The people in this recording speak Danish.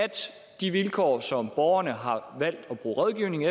de vilkår som borgerne har valgt at bruge rådgivning